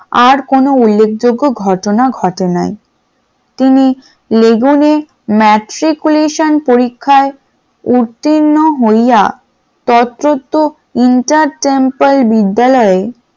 আর কোন উল্লেখযোগ্য ঘটনা ঘটে নাই, তিনি লেগুনে matriculation পরীক্ষায় উত্তীর্ণ হইয়া তত্ত্বত্ত্ব entertemper বিদ্যালয়ে